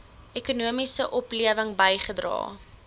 ekonomiese oplewing bygedra